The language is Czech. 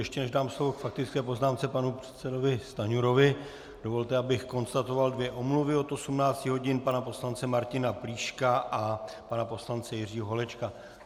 Ještě než dám slovo k faktické poznámce panu předsedovi Stanjurovi, dovolte, abych konstatoval dvě omluvy: od 18 hodin pana poslance Martina Plíška a pana poslance Jiřího Holečka.